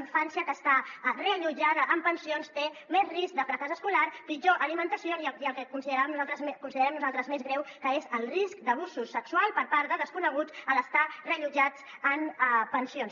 infància que està reallotjada en pensions té més risc de fracàs escolar pitjor alimentació i el que con·siderem nosaltres més greu que és el risc d’abusos sexuals per part de desconeguts a l’estar reallotjats en pensions